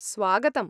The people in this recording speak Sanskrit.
स्वागतम्।